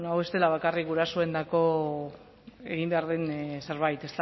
bueno hau ez dela bakarrik gurasoentzako egin behar den zerbait